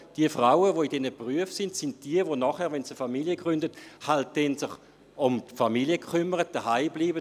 Die Frauen, die in diesen Berufen arbeiten, sind diejenigen, die sich dann, wenn sie eine Familie gründen, um die Familie kümmern und zuhause bleiben.